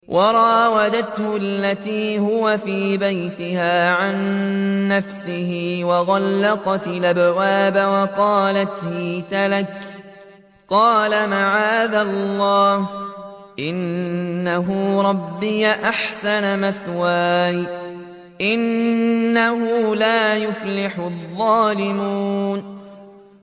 وَرَاوَدَتْهُ الَّتِي هُوَ فِي بَيْتِهَا عَن نَّفْسِهِ وَغَلَّقَتِ الْأَبْوَابَ وَقَالَتْ هَيْتَ لَكَ ۚ قَالَ مَعَاذَ اللَّهِ ۖ إِنَّهُ رَبِّي أَحْسَنَ مَثْوَايَ ۖ إِنَّهُ لَا يُفْلِحُ الظَّالِمُونَ